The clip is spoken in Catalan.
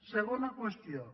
segona qüestió